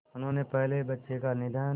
उनके पहले बच्चे का निधन